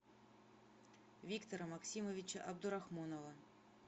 виктора максимовича абдурахмонова